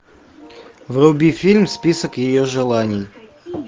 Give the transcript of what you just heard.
вруби фильм список ее желаний